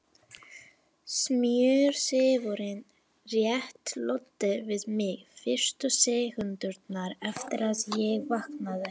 Smjörþefurinn rétt loddi við mig fyrstu sekúndurnar eftir að ég vaknaði.